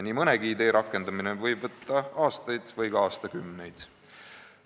Nii mõnegi idee rakendamine võib võtta aastaid või ka aastakümneid.